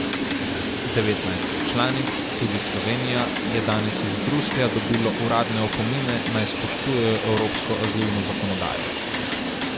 Devetnajst članic, tudi Slovenija, je danes iz Bruslja dobilo uradne opomine, naj spoštujejo evropsko azilno zakonodajo.